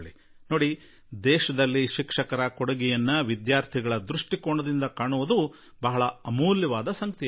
ನೋಡಿ ದೇಶದಲ್ಲಿ ಶಿಕ್ಷಕರ ಕೊಡುಗೆಯನ್ನು ವಿದ್ಯಾರ್ಥಿಗಳ ದೃಷ್ಟಿಯಲ್ಲಿ ನೋಡುವುದು ಕೂಡಾ ತನ್ನಷ್ಟಕ್ಕೆ ಬಹಳ ಮೌಲ್ಯಯುತವಾಗಿರುತ್ತದೆ